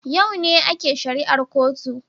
A yau ne ake shari'ar kotun